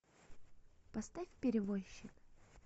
поставь перевозчик